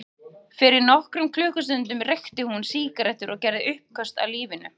Fyrir nokkrum klukkustundum reykti hún sígarettur og gerði uppköst að lífinu.